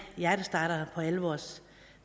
hjertestartere på alle vores